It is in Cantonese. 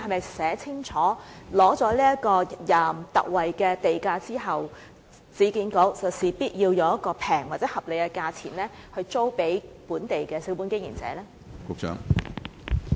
是否清楚寫明取得特惠地價後，市建局必須以廉價或合理價錢租給本地小本經營者呢？